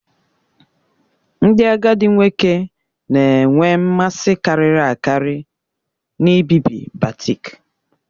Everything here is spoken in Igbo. Ndị agadi nwoke na-enwe mmasị karịri akari n'ibibi batik